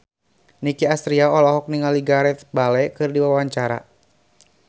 Nicky Astria olohok ningali Gareth Bale keur diwawancara